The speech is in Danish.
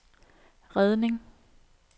redning